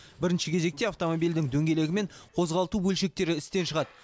бірінші кезекте автомобильдің дөңгелегі мен қозғалту бөлшектері істен шығады